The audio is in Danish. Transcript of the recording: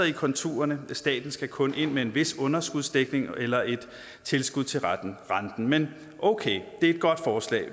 i konturerne staten skal kun ind med en vis underskudsdækning eller et tilskud til renten men okay det er et godt forslag